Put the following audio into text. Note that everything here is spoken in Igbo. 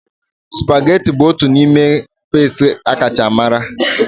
Supageti bụ otu n'ime pasta akacha mara.